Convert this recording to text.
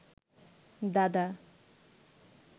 দাদা